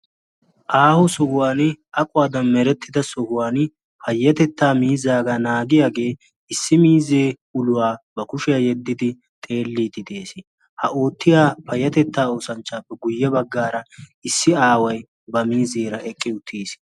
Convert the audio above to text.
Aaho sohuwan aquwaadan merettida sohuwan payyetettaa miizaagaa naagiyaagee issi miizee uluwaa ba kushiyaa yeddidi xeelliiti de'ees. ha oottiya payatettaa oosanchchaappe guyye baggaara issi aaway ba miizeera eqqi uttiis.